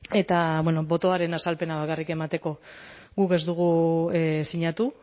eta botoaren azalpena bakarrik emateko guk ez dugu sinatu